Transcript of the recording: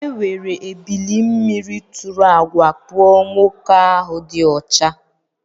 Ewere ebili mmiri tụrụ àgwà kpụọ nwoke ahụ dị ọcha